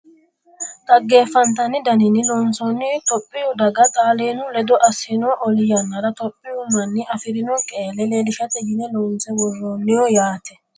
xaggeffantanni daninni loonsoonni topiyu daga xaalaanu ledo assino oli yannara topiyu manni afirino qeelle leelishate yine loonse worroonniho yaate .